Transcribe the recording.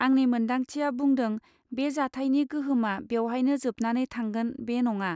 आंनि मोन्दांथिया बुंदों बे जाथायनि गोहोमआ बेवहायनो जोबनानै थांगोन बे नङा